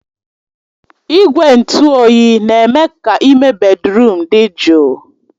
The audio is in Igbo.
Igwe ntụ oyi na-eme ka ime bèdrụm dị jụụ